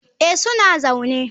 Eh, suna zaune.